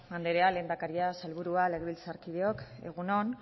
andrea lehendakaria sailburua legebiltzarkideok egun on